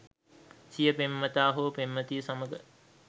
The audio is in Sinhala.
සිය පෙම්වතා හෝ පෙම්වතිය සමඟ